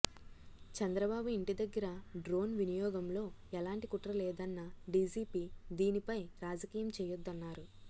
చంద్రబాబు ఇంటి దగ్గర డ్రోన్ వినియోగంలో ఎలాంటి కుట్ర లేదన్న డీజీపీ దీనిపై రాజకీయం చేయొద్దన్నారు